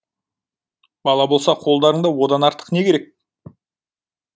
бала болса қолдарыңда одан артық не керек